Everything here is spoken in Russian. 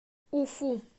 уфу